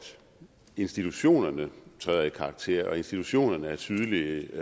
institutionerne træder i karakter på og at institutionerne er tydelige